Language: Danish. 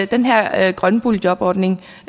den her grønne boligjobordning